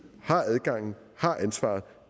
har adgangen har ansvaret